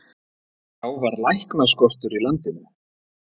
Þá var læknaskortur í landinu.